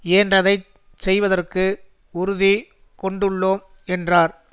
இயன்றதைச் செய்வதற்கு உறுதி கொண்டுள்ளோம் என்றார்